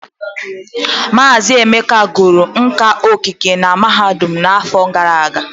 Mazị Emeka gụrụ nka okike na mahadum afọ gara aga.